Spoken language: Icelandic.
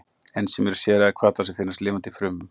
Ensím eru sérhæfðir hvatar sem finnast í lifandi frumum.